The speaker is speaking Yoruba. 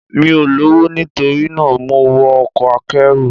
Mi ò lọ́wọ́, nitorina mo wọ ọkọ̀ akẹ́rù.